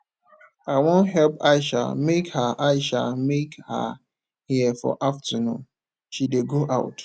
i wan help aisha make her aisha make her hair for afternoon she dey go out